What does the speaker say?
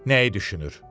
Nəyi düşünür?